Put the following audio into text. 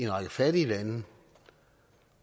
række fattige lande